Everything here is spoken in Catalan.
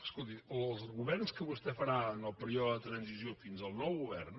escolti els governs que vostè farà en el període de transició fins al nou govern